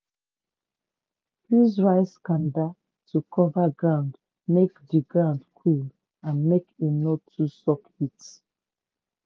use rice kanda to cover ground make di ground cool and make e no too suck heat.